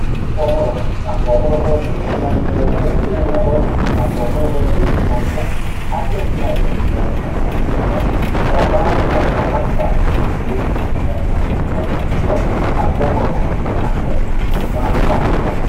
xaphoomo roso xaphoomo rosooti yinanni woyite hiittooho xaphoomo rosooti yinannihu addi addi hayyonni loonsanniha ikkanna gaabaalanka roso gamba assine mitteenni kiijannihanna kullanniha ikkino xaphoomo rosooti yine ka'ne su'ma dandiinanni